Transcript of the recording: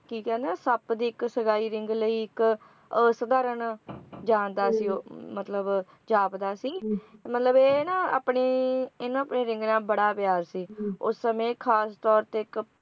ਕੀ ਕਹਿੰਦੇ ਹੋ ਕਿ ਸੱਪ ਦੀ ਇੱਕ ਸਗਾਈ ring ਲਈ ਇੱਕ ਸਧਾਰਨ ਜਾਂਦਾ ਸੀ ਉਹ ਮਤਲਬ ਜਾਪਦਾ ਸੀ ਤੇ ਮਤਲਬ ਇਹ ਨਾ ਆਪਣੀ ਇਨ੍ਹਾਂ ਨੂੰ ਆਪਣੀ ring ਨਾਲ ਬੜਾ ਪਿਆਰ ਸੀ ਉਸ ਸਮੇਂ ਖਾਸ ਤੌਰ ਤੇ ਇੱਕ